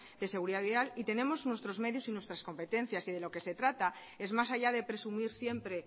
de seguridad vial y tenemos nuestros medios y nuestras competencias y de lo que se trata es más allá de presumir siempre